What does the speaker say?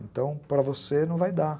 Então, para você não vai dar.